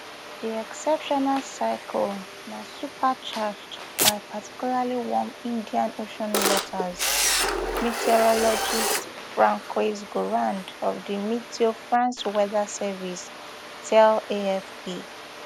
di exceptional cyclone na supercharged by particularly warm indian ocean waters meteorologist francois gourand of di meteo france weather service tell afp